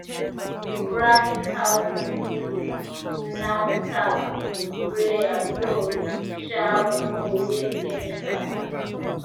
we practice how to use knapsack sprayer so um we no go waste chemical